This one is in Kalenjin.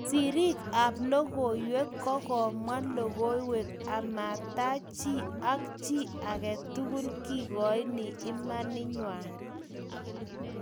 sirik ab logoiywek ko komwa logoiywek ama tach chii ak chii agetukul kekoini imanit ng'wai